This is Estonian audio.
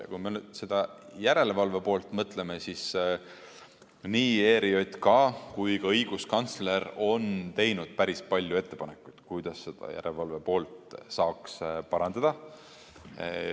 Ja kui me sellele järelevalve poolele mõtleme, siis nii ERJK kui ka õiguskantsler on teinud päris palju ettepanekuid, kuidas järelevalve poolt saaks parandada.